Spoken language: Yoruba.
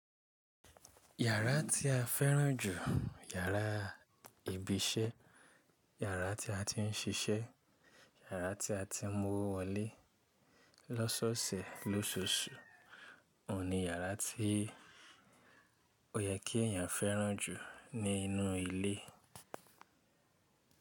Yàrá tí a fẹ́ràn jù, yàrá ibi iṣẹ́, yàrá tí a ti ń ṣiṣẹ́, yàrá tí a ti ń mú owo wọle lọ́sọọsẹ̀ lóṣooṣù, òun ni yàrá tí ó yẹ kí èèyàn fẹ́ràn jù nínú ilé.